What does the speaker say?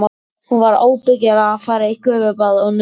Hún var ábyggilega að fara í gufubað og nudd.